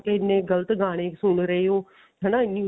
ਇੰਨੇ ਗਲਤ ਗਾਣੇ ਸੁਣ ਰਹੇ ਹੋ ਹਨਾ